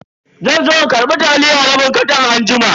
Zanzo in karbi taliya rabin katan anjima.